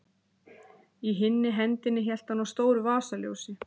Í hinni hendinni hélt hann á stóru vasaljósi.